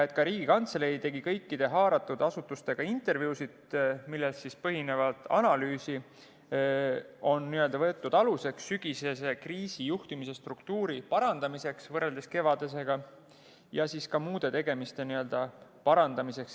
Ka Riigikantselei tegi kõikide haaratud asutustega intervjuusid, millel põhinev analüüs on võetud aluseks sügisese kriisi juhtimisstruktuuri parandamiseks võrreldes kevadisega, ja ka muude tegemiste parandamiseks.